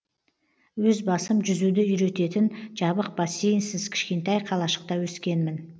өз басым жүзуді үйрететін жабық бассейнсіз кішкентай қалашықта өскенмін